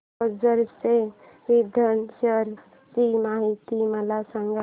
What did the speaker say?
ओझर च्या विघ्नेश्वर ची महती मला सांग